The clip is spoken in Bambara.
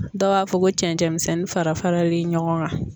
Dɔw b'a fɔ ko cɛncɛn misɛnnin fara faralen ɲɔgɔn kan.